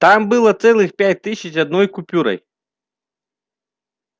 там было целых пять тысяч одной купюрой